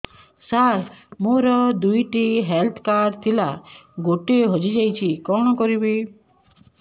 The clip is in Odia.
ସାର ମୋର ଦୁଇ ଟି ହେଲ୍ଥ କାର୍ଡ ଥିଲା ଗୋଟେ ହଜିଯାଇଛି କଣ କରିବି